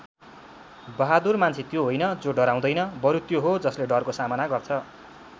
बहादुर मान्छे त्यो होइन जो डराउँदैन बरु त्यो हो जसले डरको सामना गर्छ।